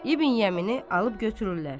İbn Yəmini alıb götürürlər.